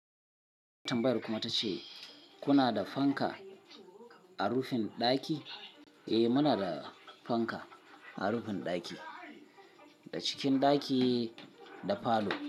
Tambayan kuma tace kuna da fanka a rufin ɗaki? Eh muna da fanka a rufin ɗaki, da cikin ɗaki da falo.